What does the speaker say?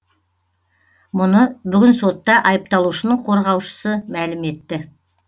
мұны бүгін сотта айыпталушының қорғаушысы мәлім етті